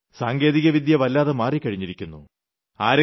ഇന്ന് സാങ്കേതികവിദ്യ വല്ലാതെ മാറിക്കഴിഞ്ഞിരിക്കുന്നു